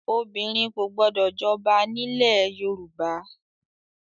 Obìnrin kò gbọdọ̀ jọba nílẹ̀ ẹ Yorùbá!